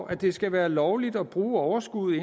at det skal være lovligt at bruge overskuddet